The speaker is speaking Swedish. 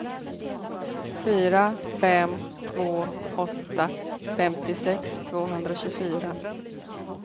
fyra fem två åtta femtiosex tvåhundratjugofyra